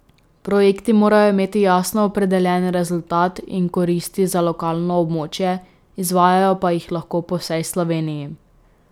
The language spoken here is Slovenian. Projekti morajo imeti jasno opredeljen rezultat in koristi za lokalno območje, izvajajo pa jih lahko po vsej Sloveniji.